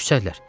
Küsəllər.